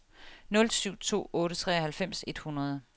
nul syv to otte treoghalvfems et hundrede